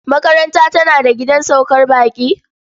Makarantar tana da gidan saukar baƙi?